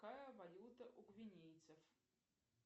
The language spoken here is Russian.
какая валюта у гвинейцев